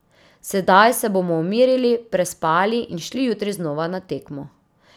Sedaj se bomo umirili, prespali in šli jutri znova na tekmo.